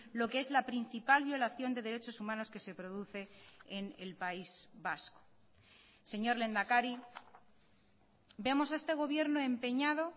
lo que es la principal violación de derechos humanos que se produce en el país vasco señor lehendakari vemos a este gobierno empeñado